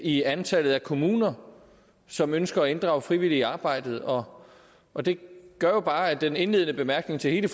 i antallet af kommuner som ønsker at inddrage frivillige i arbejdet og og det gør jo bare med den indledende bemærkning til hele